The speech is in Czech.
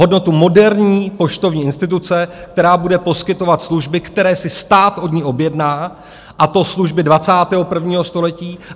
Hodnotu moderní poštovní instituce, která bude poskytovat služby, které si stát od ní objedná, a to služby 21. století.